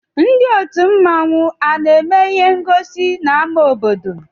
Ndị òtù mmanwu ana-eme ịhé ngosi n'áma obodo?